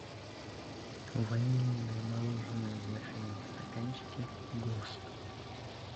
ванильное мороженое в вафельном стаканчике гост